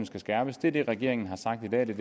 skal skærpes det er det regeringen har sagt i dag og det